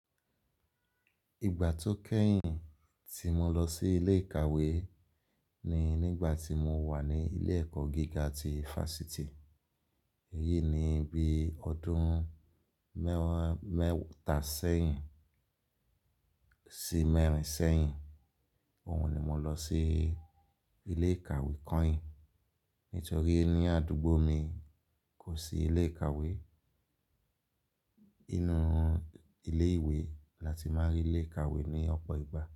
Ìgbà tó kẹ́yìn tí mo lọ sí ilé ìkàwé ni nígbà tí mo wà ní ilé ẹ̀kọ́ gíga ti Fásitì. Èyí ni bí ọdún mẹ́wàá mẹ́ta sẹ́yìn sí mẹ́rin sẹ́yìn. Òhun ni mo lọ sí ilé ìkàwé kọ́yin nítorí ní àdúgbò mi kò sí ilé ìkàwé. Inú ilé ìwé la ti máa ń rí ilé ìkàwé ní ọ̀pọ̀ ìgbà.